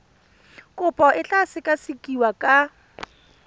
kopo e tla sekasekiwa ka